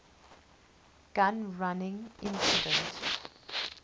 gun running incident